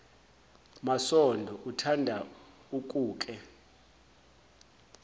masondo uthanda ukuke